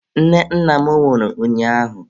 Nne nna m nwụrụ ụnyaahụ.